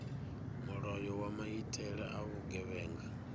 mulayo wa maitele a vhugevhenga